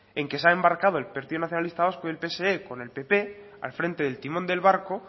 en que se ha embarcado el partido nacionalista vasco y el pse con el pp al frente del timón del barco